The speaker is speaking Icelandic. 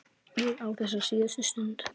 Ég á þessa síðustu stund.